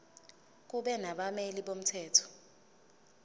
kube nabameli bomthetho